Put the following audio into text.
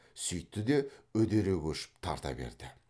сүйтті де үдере көшіп тарта берді